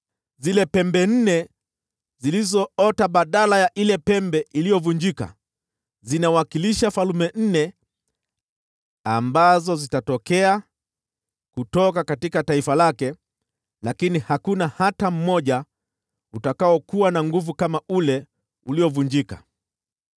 Zile pembe nne zilizoota badala ya ile pembe iliyovunjika zinawakilisha falme nne ambazo zitatokea kutoka taifa lake, lakini hakuna hata mmoja utakaokuwa na nguvu kama ule uliovunjika.